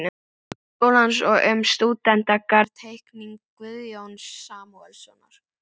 Háskólans og um stúdentagarð-Teikning Guðjóns Samúelssonar